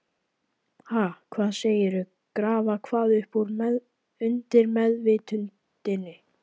Ha, hvað segirðu, grafa hvað upp úr undirmeðvitundinni?